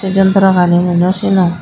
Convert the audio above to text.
sey jontrow gani mui naw sinong.